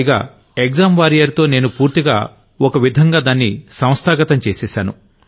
పైగా అసలు exam warrior తో నేను పూర్తిగా ఓ విధంగా దాన్ని ఇనిస్టిట్యూషనలైజ్ చేసేశాను